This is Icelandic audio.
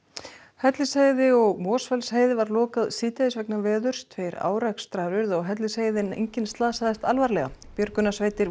Hellisheiði og Mosfellsheiði var lokað síðdegis vegna veðurs tveir árekstrar urðu á Hellisheiði en enginn slasaðist alvarlega björgunarsveitir